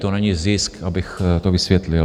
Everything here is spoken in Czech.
To není zisk, abych to vysvětlil.